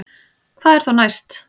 Hvað er þá næst